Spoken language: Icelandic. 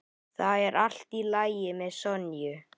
Það er allt í lagi með Sonju.